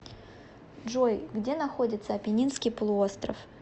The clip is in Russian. джой где находится апеннинский полуостров